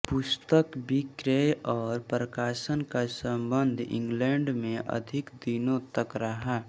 पुस्तक विक्रय और प्रकाशन का संबंध इंगलैंड में अधिक दिनों तक रहा